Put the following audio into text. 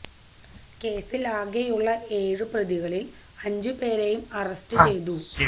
കേസില് ആകെയുള്ള ഏഴ് പ്രതികളില് അഞ്ച് പേരെയും അറസ്റ്റ് ചെയ്തു